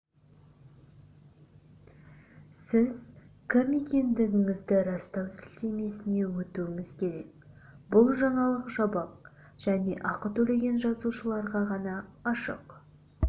сіз кім екендігіңізді растау сілтемесіне өтуіңіз керек бұл жаңалық жабық және ақы төлеген жазылушыларға ғана ашық